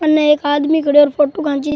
उनने एक आदमी खडियो और फोटो खैंचि।